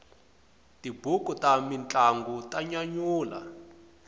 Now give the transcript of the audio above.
tibuku ta mintlangu ta nyanyula